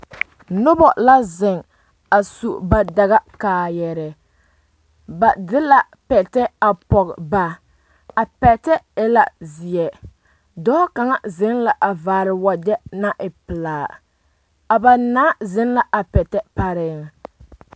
Noba la zeŋ a su ba dagakaaayarɛɛ ba de la pɛtɛ a pɔge ba a pɛtɛ e la zeɛ dɔɔ kaŋa zeŋ la a vaare wagyɛ naŋ e pelaa a ba naa zeŋ la a pɛtɛ pare.